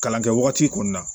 Kalan kɛ wagati kɔnɔna na